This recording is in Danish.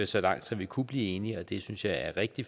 så langt som vi kunne blive enige og det synes jeg er rigtig